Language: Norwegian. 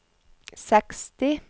seksti